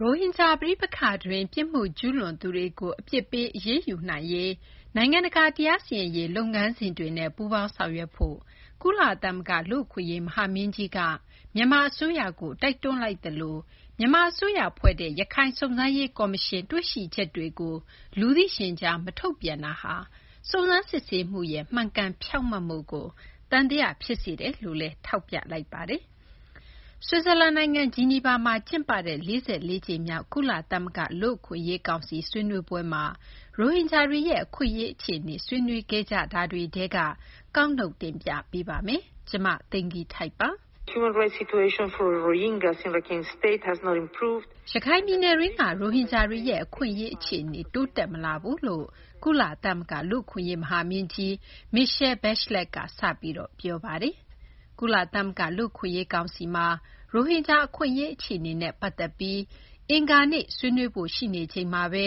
ရိုဟင်ဂျာ ပဋိပက္ခတွင်း ပြစ်မှု ကျူးလွန်သူတွေကို အပြစ်ပေး အရေးယူနိုင်ရေး နိုင်ငံတကာ တရားစီရင်ရေး လုပ်ငန်းစဉ်တွေနဲ့ ပူးပေါင်းဆောင်ရွက်ဖို့ ကုလသမဂ္ဂ လူ့အခွင့်အရေး မဟာမင်းကြီးက မြန်မာ အစိုးရကို တိုက်တွန်းလိုက်သလို မြန်မာအစိုးရ ဖွဲ့တဲ့ ရခိုင် စုံစမ်းရေး ကော်မရှင်ရဲ့ တွေ့ရှိချက်တွေကို လူသိရှင်ကြား မထုတ်ပြန်တာဟာ စုံစမ်းစစ်ဆေးမှုရဲ့ မှန်ကန်ဖြောင့်မတ်မှုကို သံသယ ဖြစ်စေတယ်လို့လည်း ထောက်ပြလိုက်ပါတယ်။ ဆွစ်ဇာလန် နိုင်ငံ ဂျီနီဗာမှာ ကျင်းပတဲ့ ၄၄ ကြိမ်မြောက် ကုလသမဂ္ဂ လူ့အခွင့်အရေး ကောင်စီရဲ့ ရိုဟင်ဂျာတွေရဲ့ အခွင့်အရေး အခြေအနေ ဆွေးနွေးပွဲကို မ သိင်္ဂ ီထိုက် ကောက်နုတ် တင်ပြပေးပါမယ်။ ရခိုင်ပြည်နယ်တွင်းက ရိုဟင်ဂျာတွေရဲ့ အခွင့်အရေး အခြေအနေ တိုးတက်မလာဘူးလို့ ကုလသမဂ္ဂ လူ့အခွင့်အရေး မဟာမင်းကြီး Michelle Bachelet က စပြီး ပြောခဲ့တာပါ။ ကုလသမဂ္ဂ လူ့အခွင့်အရေး ကောင်စီမှာ ရိုဟင်ဂျာ အခွင့်အရေး အခြေအနေနဲ့ ပတ်သက်ပြီး အင်္ဂါနေ့ ဆွေးနွေးဖု့ိ ရှိနေချိန်မှာဘဲ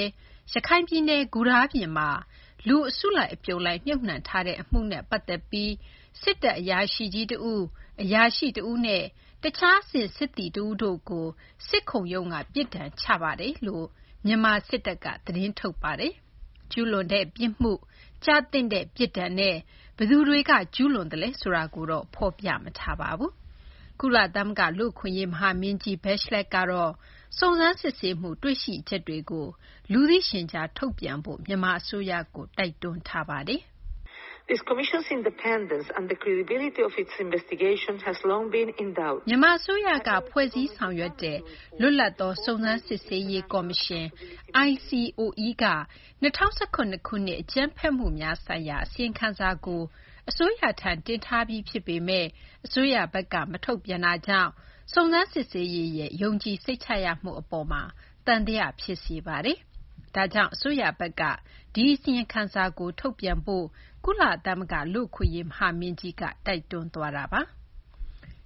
ရခိုင်ပြည်နယ် ဂူတားပြင်မှာ လူအစုလိုက် အပြုံလိုက် မြှုပ်နှံထားတဲ့ အမှုမှာ စစ်တပ် အရာရှိကြီး တဦး၊ အရာရှိ တဦးနဲ့ တခြား အဆင့် စစ်သည်တို့ကို စစ်ခုံရုံးကနေ ပြစ်ဒဏ် ချထားပါတယ်လို့ မြန်မာ စစ်တပ်က သတင်းထုတ်ပြန်ခဲ့ပါတယ်။ ကျူးလွန်တဲ့ပြစ်မှု၊ ကျသင့်တဲ့ ပြစ်ဒဏ်နဲ့ ဘယ်သူတွေက ကျူးလွန်လဲ ဆိုတာကိုတော့ ဖော်ပြမထားပါဘူး။ ကုလသမဂ္ဂ လူ့အခွင့်အရေး မဟာမင်းကြီး Bachelet ကတော့ စုံစမ်းစစ်ဆေးမှု တွေ့ရှိချက်တွေကို လူသိရှင်ကြား ထုတ်ပြန်ဖို့ မြန်မာ အစိုးရကို တိုက်တွန်းပါတယ်။ “မြန်မာ အစိုးရက ဖွဲ့စည်း ဆောင်ရွက်တဲ့ လွတ်လပ်သောစုံစမ်းစစ်ဆေးရေး ကော်မရှင် ICOE က ၂၀၁၇ ခုနှစ် အကြမ်းဖက်မှုများဆိုင်ရာ အစီရင်ခံစာကို အစိုးရထံ တင်ထားပြီး ဖြစ်ပေမယ့် အစိုးရဘက်က မထုတ်ပြန်တာကြောင့် စုံစမ်းစစ်ဆေးရေးရဲ့ ယုံကြည်စိတ်ချရမှု အပေါ်မှာ သံသယ ဖြစ်စေပါတယ်။ ဒါကြောင့် အစိုးရဘက်က ဒီအစီရင်ခံစာကို ထုတ်ပြန်ဖို့ ကုလသမဂ္ဂ လူ့အခွင့်အရေး မဟာမင်းကြီးက တိုက်တွန်းသွားတာပါ။”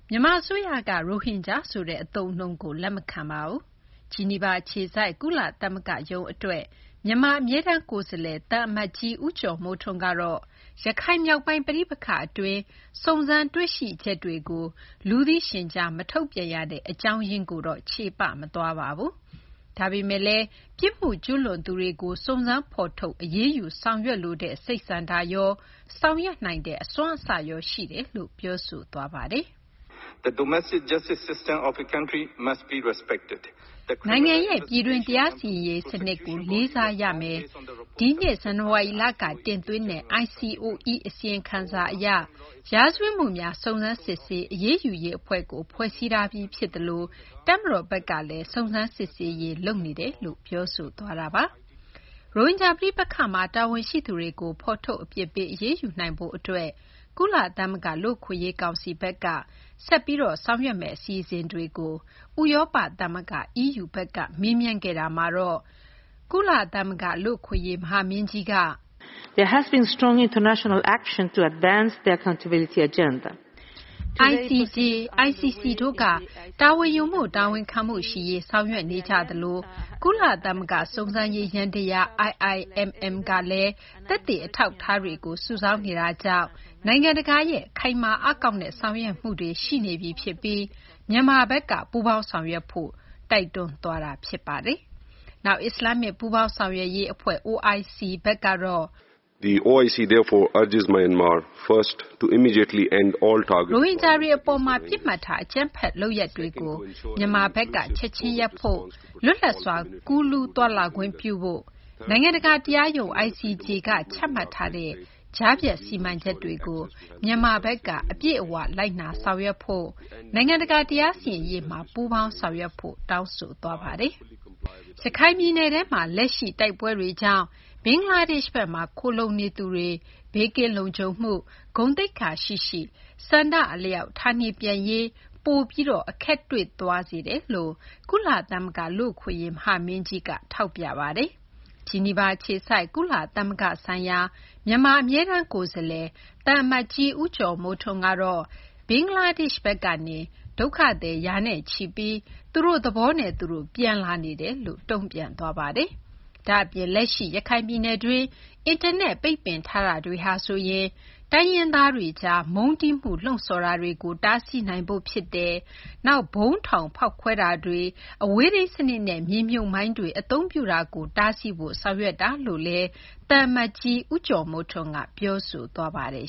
မြန်မာ အစိုးရက ရိုဟင်ဂျာ ဆိုတဲ့ အသုံးအနှုန်းကို လက်မခံပါဘူး။ ဂျီနီဗာ အခြေစိုက် ကုလသမဂ္ဂရုံး အတွက် မြန်မာ အမြဲတမ်းကိုယ်စားလှယ် ဦးကျော်မိုးထွန်းကတော့ ရခိုင်မြောက်ပိုင်း ပဋိပက္ခအတွင်း စုံစမ်းတွေ့ရှိချက်တွေကို လူသိရှင်ကြား မထုတ်ပြန်ရတဲ့ အကြောင်းရင်းကိုတော့ ချေပ မသွားပါဘူး။ ဒါပေမယ့်လည်း ပြစ်မှုကျူးလွန်သူတွေကို စုံစမ်း ဖော်ထုတ် အရေးယူ ဆောင်ရွက်လိုတဲ့ စိတ်ဆန္ဒရော ဆောင်ရွက်နိုင်တဲ့ အစွမ်းအစရော ရှိတယ်လို့ ပြောဆိုသွားပါတယ်။ “နိုင်ငံရဲ့ ပြည်တွင်း တရားစီရင်ရေး စနစ်ကို လေးစားရမယ်၊ ဒီနှစ် ဇန်နဝါရီလက တင်သွင်းတဲ့ ICOE အစီရင်ခံစာ အရ ရာဇဝတ်မှုများ စုံစမ်းစစ်ဆေး အရေးယူရေး အဖွဲ့ကို ဖွဲ့စည်းထားပြီး ဖြစ်သလို တပ်မတော်ဘက်ကလည်း စုံစမ်းစစ်ဆေးရေး လုပ်နေတယ်လို့ ပြောဆိုသွားပါတယ်။ ရိုဟင်ဂျာ ပဋိပက္ခမှာ တာဝန်ရှိသူတွေကို ဖော်ထုတ် အပြစ်ပေး အရေးယူနိုင်ရေး အတွက် ကုလသမဂ္ဂ လူ့အခွင့်အရေး ကောင်စီဘက်က ဆက်ပြီး ဆောင်ရွက်သွားမယ့် အစီအစဉ်တွေကို ဥရောပ သမဂ္ဂ EU ဘက်က မေးမြန်းခဲ့တာမှာတော့ ကုလသမဂ္ဂ လူ့အခွင့်အရေး မဟာမင်းကြီးက “ICJ ၊ ICC တို့က တာဝန်ယူမှု တာဝန်ခံမှု ရှိရေး ဆောင်ရွက်နေကြသလို ကုလသမဂ္ဂ စုံစမ်းရေး ယန္တယား IIMM ကလည်း သက်သေ အထောက်အထားတွေကို စုဆောင်းနေတာကြောင့် နိုင်ငံတကာရဲ့ ခိုင်မာအားကောင်းတဲ့ ဆောင်ရွက်မှုတွေ ရှိနေပြီ ဖြစ်ပြီး မြန်မာဘက်က ပူးပေါင်းဆောင်ရွက်ဖို့ တိုက်တွန်းသွားပါတယ်။ နောက် အစ္စလာမ္မစ် ပူးပေါင်းဆောင်ရွက်ရေး အဖွဲ့ OIC ဘက်ကတော့ “ရိုဟင်ဂျာတွေ အပေါ် ပစ်မှတ်ထား အကြမ်းဖက် လုပ်ရပ်တွေကို မြန်မာဘက်က ချက်ချင်းရပ်ဖို့၊ လွတ်လပ်စွာ ကူးလူး သွားလာခွင့်ပြုဖို့၊ နိုင်ငံတကာ တရားရုံး ICJ က ချမှတ်ထားတဲ့ ကြားဖြတ်စီမံချက်တွေကို မြန်မာဘက်က အပြည့်အ၀ လိုက်နာဖို့၊ နိုင်ငံတကာ တရားစီရင်ရေးမှာ ပူးပေါင်းဆောင်ရွက်ဖို့ တောင်းဆိုသွားပါတယ်။ ရခိုင်ပြည်နယ်ထဲမှာ လက်ရှိ တိုက်ပွဲတွေကြောင့် ဘင်္ဂလားဒေရှ့်ဘက်မှာ ခိုလှုံနေသူတွေ ဘေးကင်းလုံခြုံမှု၊ ဂုဏ်သိက္ခာရှိရှိ ဆန္ဒအလျောက် ဌာနေပြန်ရေး ပိုပြီး အခက်တွေ့သွားစေတယ်လို့လည်း ကုလသမဂ္ဂ လူ့အခွင့်အရေး မဟာမင်းကြီးက ထောက်ပြပါတယ်။ ဂျီနီဗာအခြေစိုက် ကုလသမဂ္ဂ ဆိုင်ရာ မြန်မာ အမြဲတမ်း ကိုယ်စားလှယ် သံအမတ်ကြီး ဦးကျော်မိုးထွန်းကတော့ ဘင်္ဂလားဒေရှ့်ဘက်က ဒုက္ခသည် ရာနဲ့ချီပြီး သူ့တို့ သဘောနဲ့ သူတို့ ပြန်လာနေတယ်လို့ ပြောဆိုသွားပါတယ်။ ဒါ့အပြင် လက်ရှိ ရခိုင်ပြည်နယ်တွင်း အင်တာနက် ပိတ်ပင်ထားတာဟာဆိုရင် တိုင်းရင်းသားတွေကြား မုန်းတီးမှု လှုံ့ဆော်တာတွေကို တားဆီးနိုင်ဖို့ ဖြစ်တယ်၊ နောက် ဗုံးထောင် ဖောက်ခွဲတာတွေ၊ အဝေးထိန်း စနစ်နဲ့ မြေမြုပ်မိုင်းတွေ အသုံးပြုတာတွေ တားဆီးဖို့ ဆောင်ရွက်တာလို့ သံအမတ်ကြီး ဦးကျော်မိုးထွန်းက ပြောဆိုသွားပါတယ်